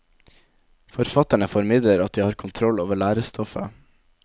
Forfatterne formidler at de har kontroll over lærestoffet.